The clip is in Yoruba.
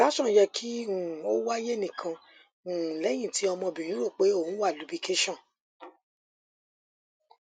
ìbèwò àrà òtò bi um èyí rán mi létí